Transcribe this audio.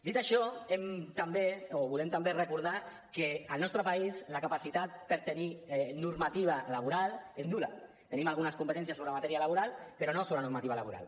dit això volem també recordar que al nostre país la capacitat per tenir normativa laboral és nul·la tenim algunes competències sobre matèria laboral però no sobre normativa laboral